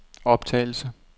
optagelse